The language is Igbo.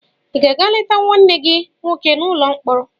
Ị ga-aga leta nwanne gị nwoke n'ụlọ mkpọrọ.